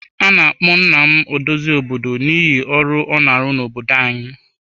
A na-akpọ nna m odozi obodo n'ihi ọrụ ọ na-arụ n'obodo anyị.